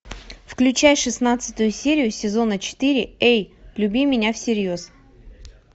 включай шестнадцатую серию сезона четыре эй люби меня всерьез